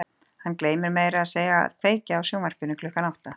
Hann gleymir meira að segja að kveikja á sjónvarpinu klukkan átta.